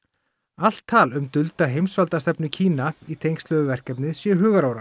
allt tal um dulda heimsvaldastefnu Kína í tengslum við verkefnið séu hugarórar